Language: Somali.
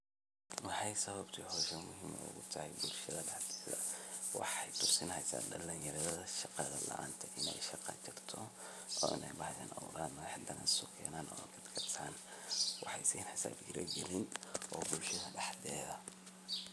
Waxay sababta muhiim ogu tahay bulshada dhaxdeeda waxay tusinihaysa dhalin yarada shaqa laanta eh inay shaqa tagto oo bacdin hadan ogaadan inay waxa sineysa dhiiri gelin oo bulshada dhaxdeeda ah